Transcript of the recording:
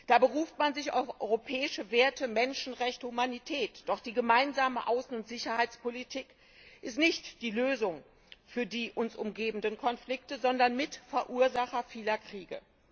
Da beruft man sich auf europäische Werte Menschenrechte, Humanität doch die Gemeinsame Außen und Sicherheitspolitik ist nicht die Lösung für die uns umgebenden Konflikte, sondern Mitverursacher vieler Kriege.